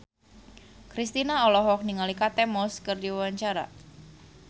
Kristina olohok ningali Kate Moss keur diwawancara